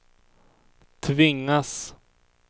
tvingas